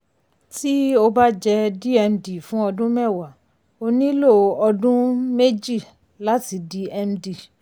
tí o bá jẹ́ dmd fún ọdún mẹ́wàá o nílò ọdún um méjì láti di md. um